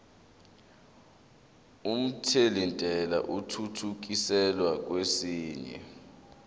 omthelintela athuthukiselwa kwesinye